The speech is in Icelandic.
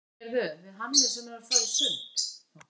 Heyrðu, við Hannes erum að fara í sund.